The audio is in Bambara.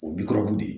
O bi kɔrɔkun de ye